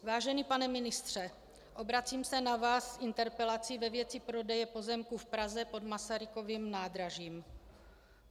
Vážený pane ministře, obracím se na vás s interpelací ve věci prodeje pozemků v Praze pod Masarykovým nádražím.